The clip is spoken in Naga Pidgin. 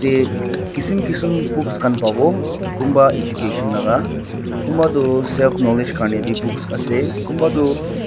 te kisim kisim books khan pawo kunba education laka kunba tu self knowledge karni bi books ase kunba tu.